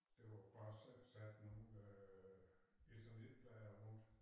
Det var jo bare sat sat nogen øh eternitplader rundt